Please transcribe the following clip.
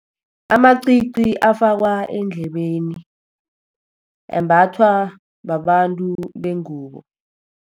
Amacici afakwa endlebeni, ambathwa babantu bengubo.